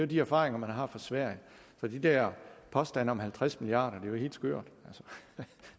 de erfaringer man har fra sverige så de der påstande om halvtreds milliard kroner er jo helt skørt